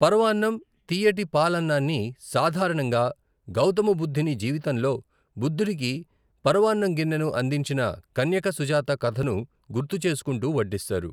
పరవాన్నం, తీయటి పాలఅన్నాని సాధారణంగా గౌతమ బుద్ధుని జీవితంలో బుద్ధుడికి పరవాన్నం గిన్నెను అందించిన కన్యక సుజాత కథను గుర్తు చేసుకుంటూ వడ్డిస్తారు.